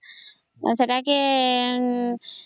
ସେଟାକେ